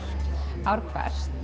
ár hvert